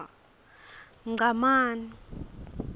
ngcamane